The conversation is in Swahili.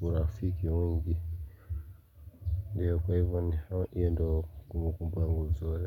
urafiki wengi Ndiyo kwa hivo ni hiyo ndo kumbu kumbu yangu nzuri.